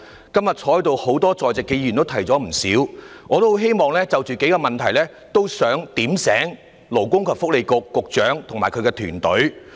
今天在席多位議員已提出不少意見，我也希望就數個問題"點醒"勞工及福利局局長與其團隊。